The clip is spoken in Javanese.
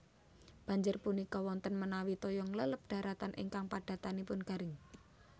Banjir punika wonten menawi toya ngleleb daratan ingkang padatanipun garing